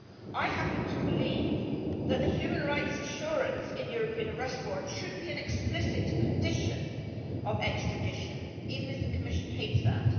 I happen to believe that the human rights assurance in European Arrest Warrants should be an explicit condition of extradition, even if the Commission hates that.